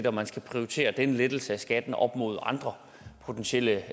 og man skal prioritere den lettelse af skatten op mod andre potentielle